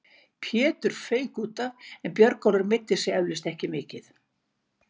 Pétur fauk útaf en Björgólfur meiddi sig eflaust ekki mikið.